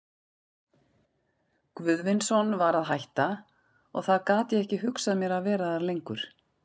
Guðvinsson var að hætta, og þá gat ég ekki hugsað mér að vera þar lengur.